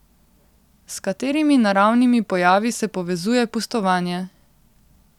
S katerimi naravnimi pojavi se povezuje pustovanje?